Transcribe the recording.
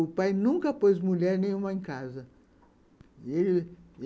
O pai nunca pôs mulher nenhuma em casa.